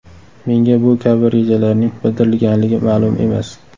Menga bu kabi rejalarning bildirilganligi ma’lum emas.